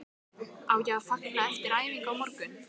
Á ég að fagna eftir æfingu á morgun?